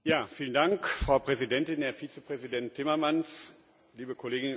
Frau Präsidentin, Herr Vizepräsident Timmermans, liebe Kolleginnen und Kollegen!